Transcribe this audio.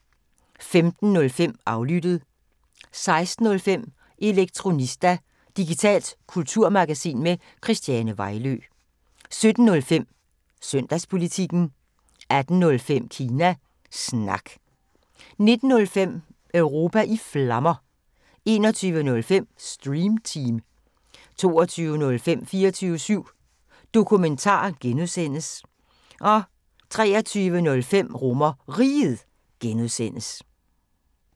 15:05: Aflyttet 16:05: Elektronista – digitalt kulturmagasin med Christiane Vejlø 17:05: Søndagspolitikken 18:05: Kina Snak 19:05: Europa i Flammer 21:05: Stream Team 22:05: 24syv Dokumentar (G) 23:05: RomerRiget (G)